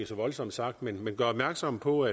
så voldsomt sagt men gør opmærksom på